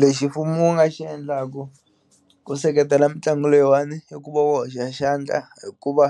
Lexi mfumo wu nga xi endlaku ku seketela mitlangu leyiwani i ku va wu hoxa xandla hi ku va